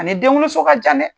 A ni denwoloso ka jan dɛ!